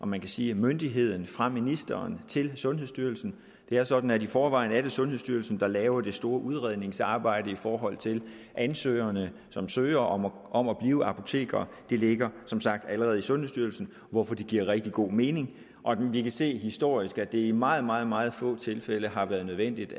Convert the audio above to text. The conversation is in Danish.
man sige myndigheden fra ministeren til sundhedsstyrelsen det er sådan at det i forvejen er sundhedsstyrelsen der laver det store udredningsarbejde i forhold til de ansøgere som søger om om at blive apotekere det ligger som sagt allerede i sundhedsstyrelsen hvorfor det giver rigtig god mening vi kan se historisk at det i meget meget meget få tilfælde har været nødvendigt